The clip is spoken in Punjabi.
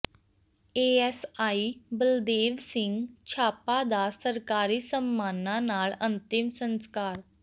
ਏਐੱਸਆਈ ਬਲਦੇਵ ਸਿੰਘ ਛਾਪਾ ਦਾ ਸਰਕਾਰੀ ਸਨਮਾਨਾਂ ਨਾਲ ਅੰਤਿਮ ਸੰਸਕਾਰ